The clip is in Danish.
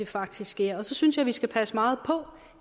faktisk sker og så synes jeg vi skal passe meget på